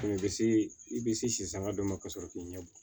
U bɛ se i bɛ se si sanga dɔ ma ka sɔrɔ k'i ɲɛ bɔ